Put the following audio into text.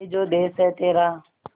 ये जो देस है तेरा